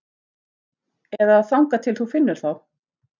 Eða þangað til þú finnur þá.